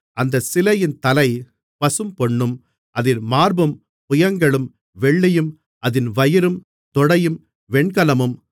அந்தச் சிலையின் தலை பசும்பொன்னும் அதின் மார்பும் புயங்களும் வெள்ளியும் அதின் வயிறும் தொடையும் வெண்கலமும்